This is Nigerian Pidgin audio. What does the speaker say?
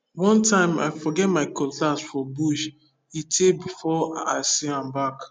one time i forget my cutlass for bush e tey before i see am back